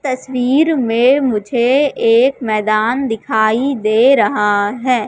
तस्वीर में मुझे एक मैदान दिखाई दे रहा है।